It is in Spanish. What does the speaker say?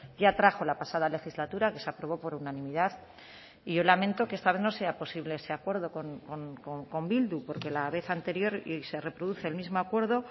ya trajo la pasada legislatura que se aprobó por unanimidad y yo lamento que esta vez no sea posible ese acuerdo con bildu porque la vez anterior y se reproduce el mismo acuerdo